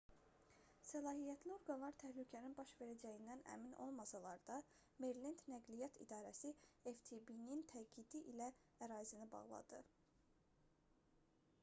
səlahiyyətli orqanlar təhlükənin baş verəcəyindən əmin olmasalar da merilend nəqliyyat i̇darəsi ftb-nin təkidi ilə ərazini bağladı